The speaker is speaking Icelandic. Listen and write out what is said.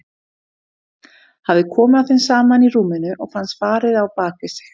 Hafði komið að þeim saman í rúminu og fannst farið á bak við sig.